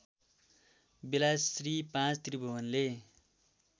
बेला श्री ५ त्रिभुवनले